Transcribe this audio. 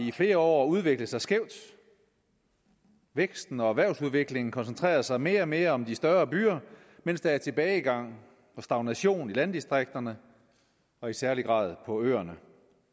i flere år udviklet sig skævt væksten og erhvervsudviklingen koncentrerer sig mere og mere om de større byer mens der er tilbagegang og stagnation i landdistrikterne og i særlig grad på øerne